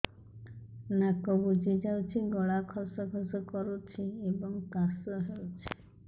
ନାକ ବୁଜି ଯାଉଛି ଗଳା ଖସ ଖସ କରୁଛି ଏବଂ କାଶ ହେଉଛି